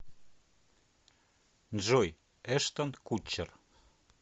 джой эштон кутчер